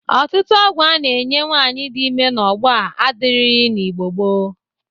Ọtụtụ ọgwọ a na-enye nwaanyị dị ime n'ogbo a adịrighi n'Igbo gboo.